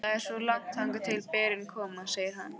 Það er svo langt þangað til berin koma, segir hann.